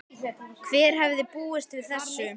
Hver hefði búist við þessu?